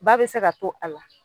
Ba be se ka to a la